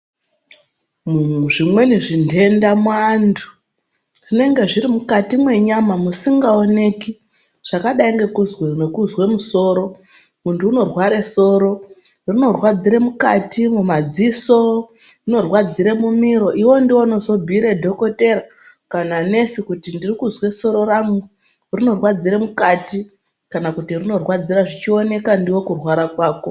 Zvimweni zvinhenda muantu zvinenge zviri mukati mwenyama musingaoneki zvakadai ngekuzwe musoro ,muntu unorware soro rinorwadzire mukati, mumadziso, rinorwadzire mumiro iwewe ndiwe unozobhuyire dhokodheya kana Nesi kuti ndiri kuzwe soro rangu rinorwadzire mukati kana kuti rinorwadzira zvichioneka ndiwe kurwara kwako.